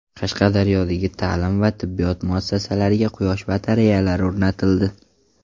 Qashqadaryodagi ta’lim va tibbiyot muassasalariga quyosh batareyalari o‘rnatildi.